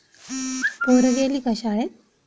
पोरं गेली का शाळेत.